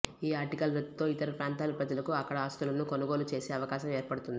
ఈ ఆర్టికల్ రద్దుతో ఇతర ప్రాంతాల ప్రజలకూ అక్కడ ఆస్తులను కొనుగోలు చేసే అవకాశం ఏర్పడుతుంది